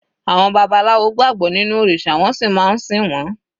Àwọn babaláwo gbàgbọ́ nínú òrìṣà wọ́n sì máa ń sìn wọ́n.